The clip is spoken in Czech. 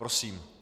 Prosím.